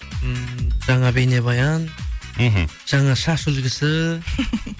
ммм жаңа бейнебаян мхм жаңа шаш үлгісі